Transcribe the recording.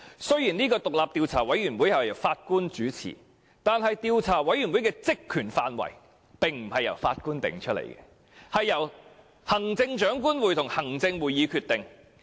雖然這個獨立調查委員會由法官主持，但其職權範圍並不是由法官決定，而是由行政長官會同行政會議決定。